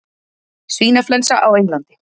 Svínaflensa á Englandi